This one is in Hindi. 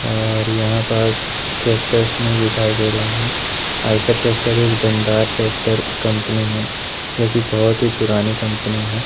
और यहां पास ट्रैक्टर्स नहीं दिखाई दे रहे हैं आयशर ट्रैक्टर एक दमदार ट्रैक्टर कंपनी है जोकि बहोत ही पुरानी ।